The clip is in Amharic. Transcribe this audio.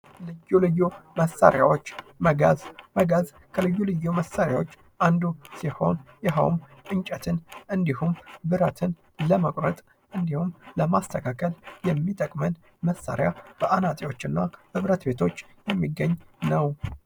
ልዩ ልዩ መሳሪያዎች መጋዝ። መጋዝ ከልዩ ልዩ መሳሪያዎች አንዱ ሲሆን ይኸውም እንጨትን እንዲሁም ብረትን ለመቁረጥ እንዲሁም ለማስተካከል የሚጠቅመን መሳሪያ በአናጺዎች እና በብረት ቤቶች የሚገኝ ነው።